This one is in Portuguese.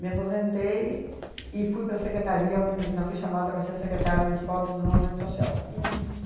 Me aposentei e fui para a secretaria, onde ainda fui chamada para ser secretária Municipal de Desenvolvimento Social. Uhum.